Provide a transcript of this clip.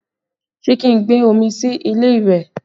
Ṣé kí n gbé omi sí ilé ìwẹ̀?